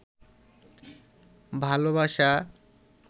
ভালবাসা